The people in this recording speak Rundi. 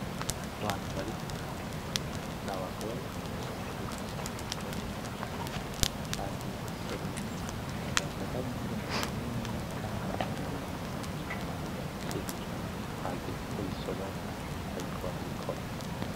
Abantu bari ku kazi, n'abagore bagiye gusoroma , harimwo n'abagabo bagiye gusoroma , nibaza kwari nk'irengarenga canke ibindi bintu bindi bateye hageze ko bisoromwa bariko barabikora .